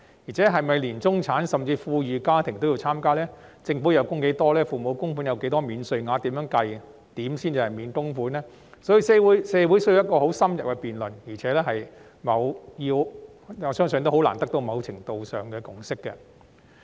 再者，中產甚至富裕家庭是否都要參加；政府需要供款多少；父母要供款多少才享有若干免稅額，以及該如何計算才能免供款，這些社會都需要進行很深入的辯論，亦相信難以達致某程度的共識。